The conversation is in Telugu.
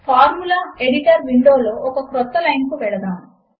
ఫార్ములా ఎడిటర్ విండో లో ఒక క్రొత్త లైన్ కు వెళదాము